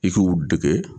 I k'u dege